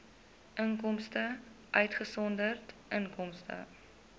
inkomste uitgesonderd inkomste